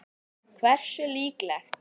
Hversu líklegt?